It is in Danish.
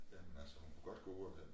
Jamen altså hun kunne godt gå ud hente